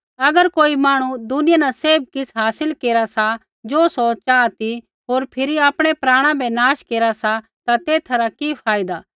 अगर कोई मांहणु दुनिया न सैभ किछ़ हासिल केरा सा ज़ो सौ चाहा ती होर फिरी आपणै प्राणा बै नाश केरा सा ता तेथा रा कि फायदा